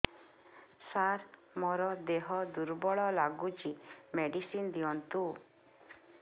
ସାର ମୋର ଦେହ ଦୁର୍ବଳ ଲାଗୁଚି ମେଡିସିନ ଦିଅନ୍ତୁ